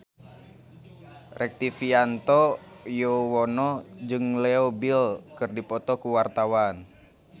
Rektivianto Yoewono jeung Leo Bill keur dipoto ku wartawan